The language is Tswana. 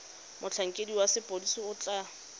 motlhankedi wa sepodisi o tla